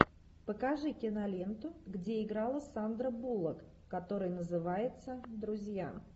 покажи киноленту где играла сандра буллок которая называется друзья